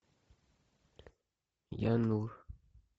янур